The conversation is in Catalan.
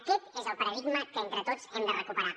aquest és el paradigma que entre tots hem de recuperar